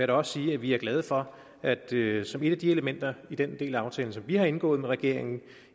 da også sige at vi er glade for at det som et af de elementer i den del af aftalen som vi har indgået med regeringen